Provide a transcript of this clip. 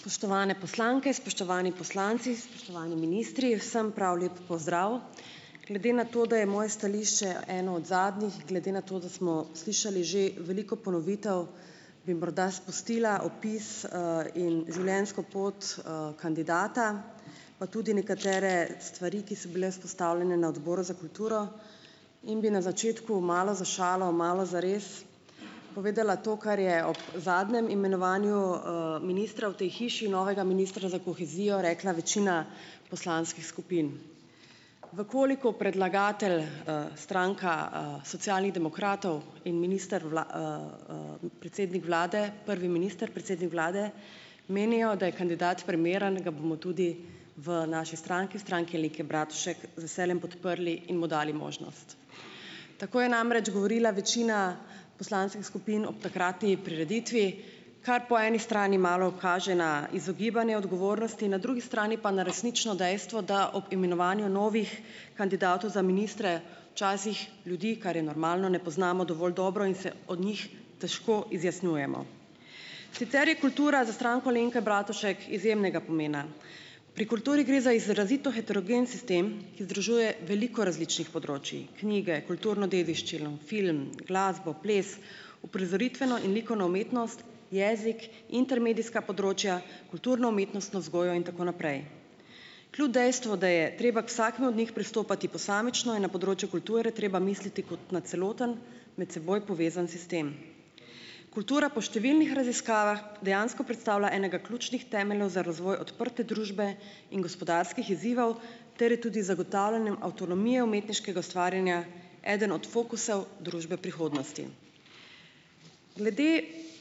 Spoštovane poslanke, spoštovani poslanci, spoštovani ministri, vsem prav lep pozdrav! Glede na to, da je moje stališče eno od zadnjih, glede na to, da smo slišali že veliko ponovitev, bi morda spustila opis, in življenjsko pot, kandidata, pa tudi nekatere stvari, ki so bile izpostavljene na Odboru za kulturo in bi na začetku malo za šalo malo za res povedala to, kar je ob zadnjem imenovanju, ministra v tej hiši, novega ministra za kohezijo, rekla večina poslanskih skupin. V koliko predlagatelj, stranka, Socialnih demokratov in minister predsednik vlade, prvi minister, predsednik vlade menijo, da je kandidat primeren, ga bomo tudi v naši stranki, Stranki Aleke Bratušek z veseljem podprli in mu dali možnost. Tako je namreč govorila večina poslanskih skupin ob takratni prireditvi, kar po eni strani malo kaže na izogibanje odgovornosti, na drugi strani pa na resnično dejstvo, da ob imenovanju novih kandidatov za ministre včasih ljudi, kar je normalno, ne poznamo dovolj dobro in se od njih težko izjasnjujemo. Sicer je kultura za Stranko Alenke Bratušek izjemnega pomena. Pri kulturi gre za izrazito heterogen sistem, ki združuje veliko različnih področij, knjige, kulturno dediščino, film, glasbo, ples, uprizoritveno in likovno umetnost, jezik, intermedijska področja, kulturno-umetnostno vzgojo in tako naprej. Kljub dejstvu, da je treba k vsakemu od njih pristopati posamično, je na področju kulture treba misliti kot na celoten med seboj povezan sistem. Kultura po številnih raziskavah dejansko predstavlja enega ključih temeljev za razvoj odprte družbe in gospodarskih izzivov ter je tudi z zagotavljanjem avtonomije umetniškega ustvarjanja eden od fokusov družbe prihodnosti. Glede